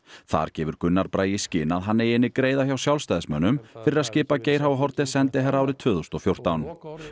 þar gefur Gunnar Bragi í skyn að hann eiga inni greiða hjá Sjálfstæðismönnum fyrir að skipa Geir h Haarde sendiherra árið tvö þúsund og fjórtán